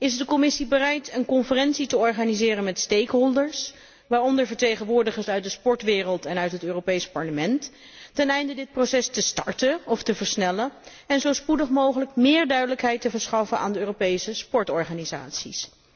Is de Commissie bereid een conferentie te organiseren met de belanghebbenden, waaronder vertegenwoordigers uit de sportwereld en uit het Europees Parlement, teneinde dit proces te starten of te versnellen en zo spoedig mogelijk meer duidelijkheid te verschaffen aan de Europese sportorganisaties?